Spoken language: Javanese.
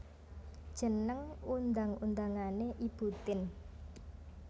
Jeneng undang undangané Ibu Tien